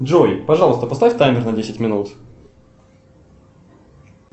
джой пожалуйста поставь таймер на десять минут